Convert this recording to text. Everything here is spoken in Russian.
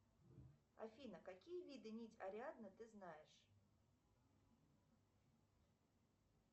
афина какие виды нить ариадны ты знаешь